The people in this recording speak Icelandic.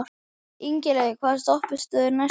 Ingilaug, hvaða stoppistöð er næst mér?